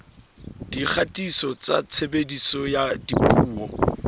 dikgatiso tsa tshebediso ya dipuo